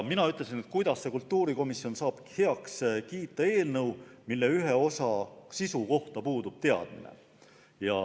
Mina ütlesin, et kuidas saab kultuurikomisjon heaks kiita eelnõu, mille ühe osa sisu kohta puudub teadmine.